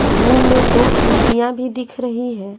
Room में दो खिड़कियाँ भी दिख रही है।